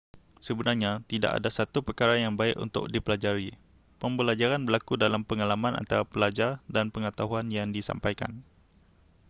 sebenarnya tidak ada satu perkara yang baik untuk dipelajari pembelajaran berlaku dalam pengalaman antara pelajar dan pengetahuan yang disampaikan